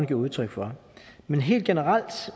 giver udtryk for men helt generelt